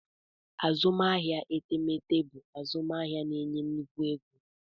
Azụmahịa etemeete bụ azụmahịa na-enye nnukwu ego.